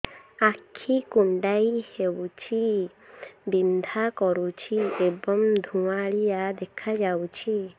ଆଖି କୁଂଡେଇ ହେଉଛି ବିଂଧା କରୁଛି ଏବଂ ଧୁଁଆଳିଆ ଦେଖାଯାଉଛି